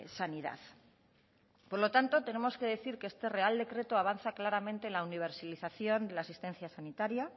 sanidad por lo tanto tenemos que decir que este real decreto avanza claramente en la universilización de la asistencia sanitaria